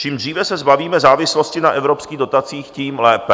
Čím dříve se zbavíme závislosti na evropských dotacích, tím lépe.